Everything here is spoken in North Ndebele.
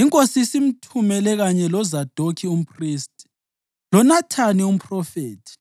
Inkosi isimthumele kanye loZadokhi umphristi, loNathani umphrofethi,